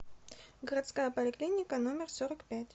городская поликлиника номер сорок пять